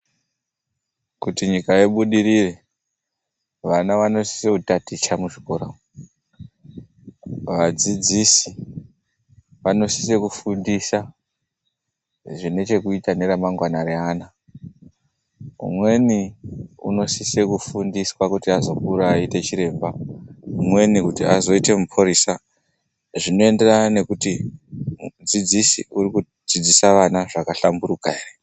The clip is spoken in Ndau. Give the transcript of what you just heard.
Kuti nyika ibudirire, vana vanosise kutaticha muzvikora umo, vadzidzisi vanosisa kufundisa zvinechekuita neremangwana reana, umweni unosisa kufundiswa kuti azokura aite chiremba, umweni kuti azoite muphurisa, zvinoenderana nekuti mudzidzisi urikudzidzisa vana zvakahlamburuka ere.